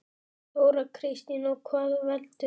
Þóra Kristín: Og hvað veldur?